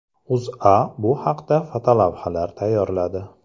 O‘zA bu haqda fotolavhalar tayyorladi .